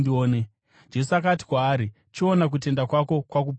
Jesu akati kwaari, “Chiona; kutenda kwako kwakuporesa.”